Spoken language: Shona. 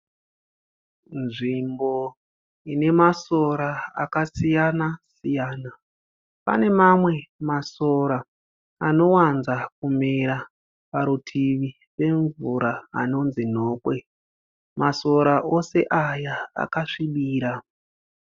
Nzvimbo ine masora akasiyana siyana. Pane mamwe masora anowanza kumera parutivi pemvura anonzi nhokwe, masora ose aya akasvibira.